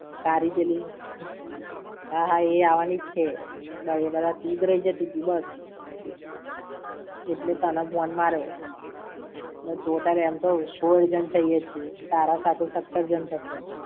તારી પેલી, હા હા, એ આવાની જ છે. એ બધા તું જ રઈ જતીતી બસ. એટલે જ તને ફોને માર્યો. Total એમ તો સોળ જણ થઈએ છે, તારા સાથે સત્તર જણ.